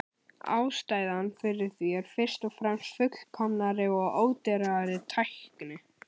Ástæðan fyrir því er fyrst og fremst fullkomnari og ódýrari tækni.